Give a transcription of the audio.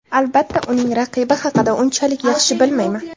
Albatta, uning raqibi haqida unchalik yaxshi bilmayman.